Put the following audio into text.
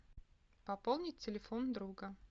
пополнить телефон друга